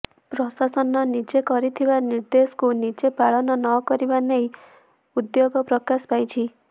ପ୍ରଶାସନ ନିଜେ କରିଥିବା ନିର୍ଦ୍ଦେଶକୁ ନିଜେ ପାଳନ ନ କରିବା ନେଇ ଉଦ୍ବେଗ ପ୍ରକାଶ ପାଇଛି